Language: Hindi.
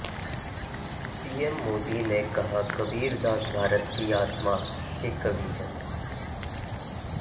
पीएम मोदी ने कहा कबीर दास भारत की आत्मा के कवि है